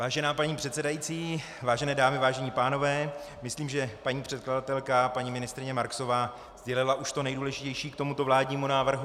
Vážená paní předsedající, vážené dámy, vážení pánové, myslím, že paní předkladatelka, paní ministryně Marksová sdělila už to nejdůležitější k tomuto vládnímu návrhu.